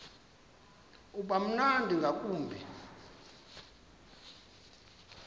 uba mnandi ngakumbi